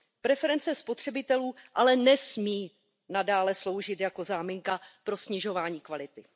Preference spotřebitelů ale nesmí nadále sloužit jako záminka pro snižování kvality.